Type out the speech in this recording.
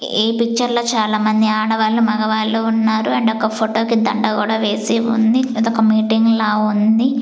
ఈ పిక్చర్ లో చాలామంది ఆడవాళ్ళు మగవాళ్ళు ఉన్నారు ఆండ్ ఒక ఫోటో కి దండ కూడా వేసి ఉంది ఇదొక మీటింగ్ లా ఉంది.